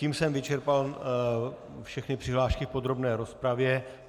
Tím jsem vyčerpal všechny přihlášky v podrobné rozpravě.